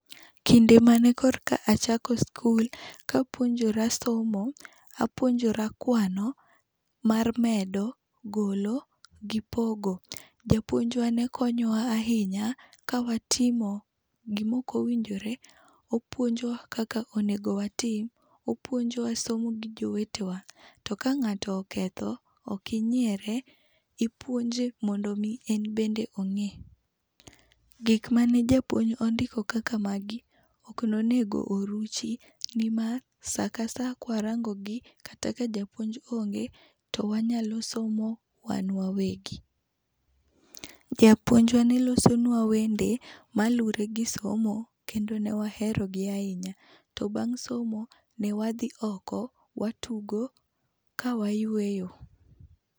Kinde mane korka a chako skul, kapuonjora somo, apuonjora kwano mar medo, golo, gi pogo. Japuonjwa ne konyowa ahinya kawatimo gima ok owinjore, opuonjowa kaka onego watim. Opuonjowa somo gi jowetewa. To ka ng'ato oketho, ok inyiere, ipuonje mondo mi en bende ong'e. Gik mane japuonj ondiko kaka magi, ok nonego oruchi nimar sakasa kwarangogi, kata ka japuonj onge, to wanyalo somo wan wawegi. Japuonjwa ne losonwa wende maluwre gi somo, kendo ne wahero gi ahinya. To bang' somo ne wadhi oko, watugo ka wayueyo.